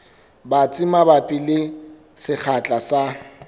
batsi mabapi le sekgahla sa